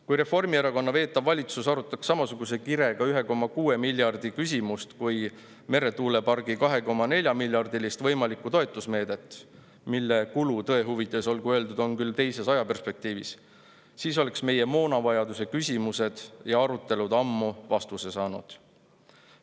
Kui Reformierakonna veetav valitsus arutaks samasuguse kirega 1,6 miljardi küsimust kui meretuulepargi 2,4‑miljardilist võimalikku toetusmeedet, mille kulu, tõe huvides olgu öeldud, on küll teises ajaperspektiivis, siis oleks meie moonavajaduse küsimused ammu vastuse saanud.